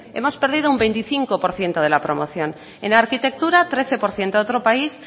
hemos perdido un veinticinco por ciento de la promoción en arquitectura trece por ciento a otro país